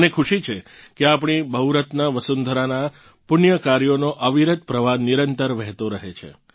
મને ખુશી છે કે આપણી બહુરત્ના વસુંધરાનાં પુણ્ય કાર્યોનો અવિરત પ્રવાહ નિરંતર વહેતો રહે છે